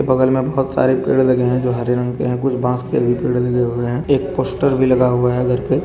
बगल में बहुत सारे पेड़ लगे हैं जो हरे रंग के हैं कुछ बांस के भी पेड़ लगे हुए हैं एक पोस्टर भी लगा हुआ है करके।